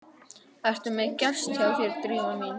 Ertu með gest hjá þér, Drífa mín?